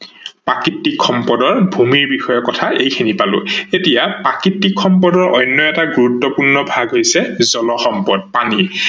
প্ৰাকৃতিক সম্পদৰ ভূমিয়ে বিষয়ে কথা এইখিনি পালো, এতিয়া প্ৰাকৃতিক সম্পদৰ অন্য এটা গুৰুত্বপূৰ্ণ ভাগ হৈছে জল সম্পদ পানী